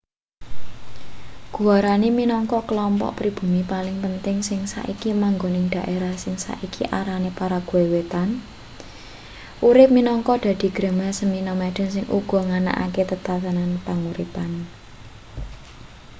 guarani minangka klompok pribumi paling penting sing saiki manggon ing dhaerah sing saiki arane paraguay wétan urip minangka dadi grema semi-nomaden sing uga nganakake tetanen panguripan